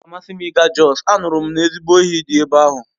Ọ ga-amasị m ịga Jos, anụrụ m ezigbo oyi dị ebe ahụ